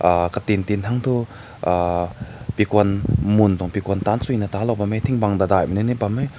uh ka tin katin hai toh uh bigun mun taun begun tan tsui na tan lao ting bang lao.